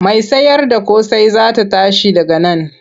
Mai sayarda ƙosai za ta tashi daga nan.